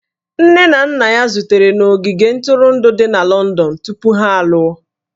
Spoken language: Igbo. Nne na nna ya zutere na ogige ntụrụndụ dị na Lọndọn tupu ha alụọ